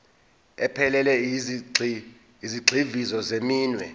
ephelele yezigxivizo zeminwe